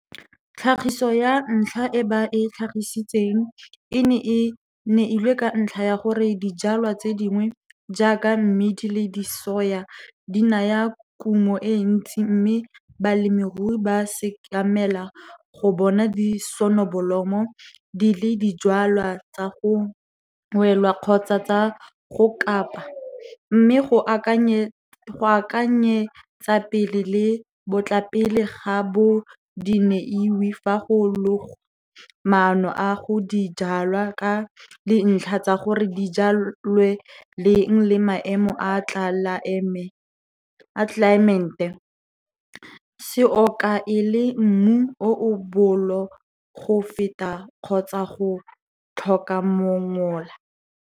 Tlhagiso ya ntlha e ba e tlhagisitseng e ne e neilwe ka ntlha ya gore dijwalwa tse dingwe jaaka mmidi le disoya di naya kumo e ntsi mme balemirui ba sekamela go bona disonobolomo di le dijwalwa tsa go welwa kgotsa tsa 'go kapa' mme go akanyetsapele le botlapele ga bo di neiwe fa go logwa maano a go di jwala ka dintlha tsa gore di jwalwe leng le maemo a tlelaemete, sekoa e le mmu o o bolo go feta kgotsa go tlhoka mongola.